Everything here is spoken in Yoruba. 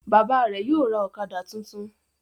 Bàbá rẹ yóò ra okada títún.